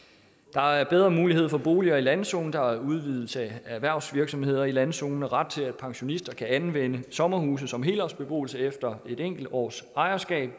der er bedre muligheder for boliger i landzonen der er udvidelse af erhvervsvirksomheder i landzonen med ret til at pensionister kan anvende sommerhuse som helårsbeboelse efter et enkelt års ejerskab